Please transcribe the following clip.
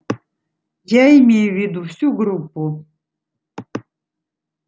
я имею в виду всю группу